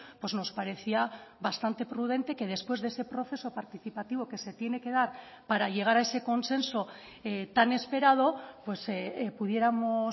pues nos parecía bastante prudente que después de ese proceso participativo que se tiene que dar para llegar a ese consenso tan esperado pudiéramos